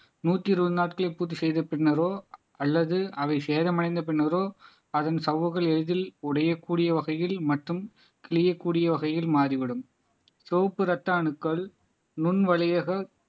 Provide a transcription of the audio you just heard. நூத்தி இருபது நாட்களை பூர்த்தி செய்த பின்னரோ அல்லது அவை சேதமடைந்த பின்னரோ அதன் சவ்வுகள் எளிதில் உடைய கூடிய வகையில் மற்றும் கிழியக்கூடிய வகையில் மாறிவிடும் செவப்பு இரத்த அணுக்கள் நுண் வழியாக